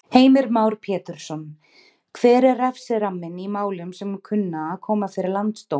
Heimir Már Pétursson: Hver er refsiramminn í málum sem kunna að koma fyrir Landsdóm?